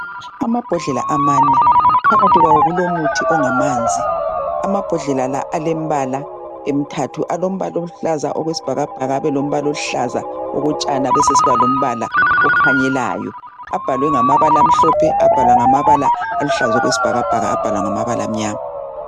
Amabhodlela amane, phakathi kwawo kulo muthi ongamanzi. Amabhodlela la alembala emithathu, alombala oluhlaza okwesibhakabhaka, abelombala oluhlaza okotshani abesesiba lombala okhanyelayo. Abhalwe ngamabala amhlophe, abhalwa ngamabala aluhlaza okwesibhakabhaka, abhalwa ngamabala amnyama.